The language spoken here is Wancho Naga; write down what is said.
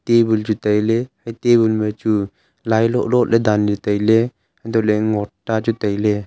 tabul chu tailey hai tabul ma chu lailoh lot ley danley tailey hantohley ngot ta ley chu tailey.